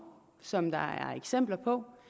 som der er eksempler på